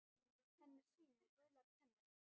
Hann er svín með gular tennur.